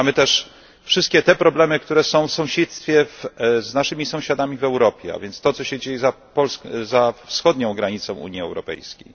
Mamy też wszystkie te problemy, które są w sąsiedztwie, z naszymi sąsiadami w Europie a więc to, co się dzieje za wschodnią granicą Unii Europejskiej.